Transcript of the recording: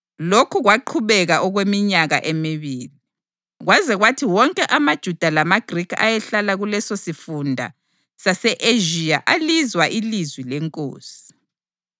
Lokhu kwaqhubeka okweminyaka emibili, kwaze kwathi wonke amaJuda lamaGrikhi ayehlala kulesosifunda sase-Ezhiya alizwa ilizwi leNkosi.